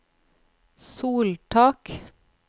soltak